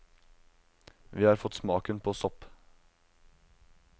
Vi har fått smaken på sopp.